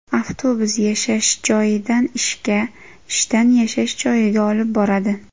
Avtobus yashash joyidan ishga, ishdan yashash joyiga olib boradi.